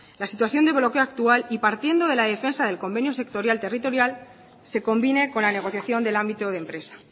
la situación de bloqueo actual y partiendo de la defensa del convenio sectorial territorial se convine con la negociación del ámbito de empresa